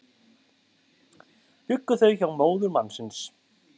Bjuggu þau hjá móður mannsins